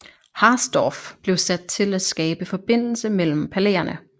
Harsdorff blev sat til at skabe forbindelse mellem palæerne